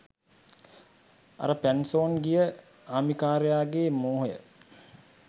අර පැන්සොන් ගිය ආමිකාරයාගේ මෝහය